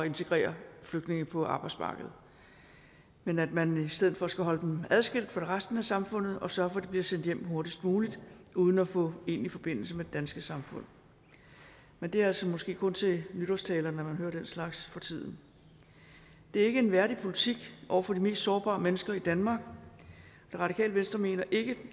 integrere flygtninge på arbejdsmarkedet men at man i stedet for skal holde dem adskilt fra resten af samfundet og sørge for at de bliver sendt hjem hurtigst muligt uden at få egentlig forbindelse med det danske samfund men det er altså måske kun til nytårstaler man hører den slags for tiden det er ikke en værdig politik over for de mest sårbare mennesker i danmark det radikale venstre mener ikke